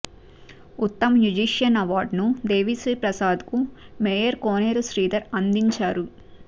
ఉత్తమ మ్యుజీషియన్ అవార్డును దేవిశ్రీప్రసాద్ కు మేయర్ కోనేరు శ్రీధర్ అందించారు